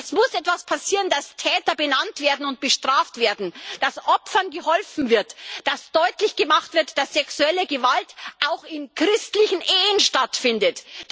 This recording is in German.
Es muss etwas passieren, damit Täter benannt werden und bestraft werden, damit Opfern geholfen wird, damit deutlich gemacht wird, dass sexuelle Gewalt auch in christlichen Ehen stattfindet.